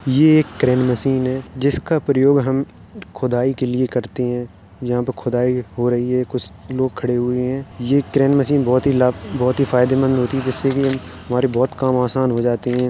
यह एक crane machine जिसका प्रयोग हम खुदाई के लिए करते हैं| यहा पे खुदाई हो रही है कुछ लोग खड़े हुए है यह ट्रेनमशीन बहोत ही लाभ फायदे मंद होती है जिससे की हमारे बोहोत काम आसान हो जाते हैं ।